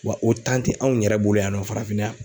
Wa o tɛ anw yɛrɛ bolo yan nɔ farafinna yan.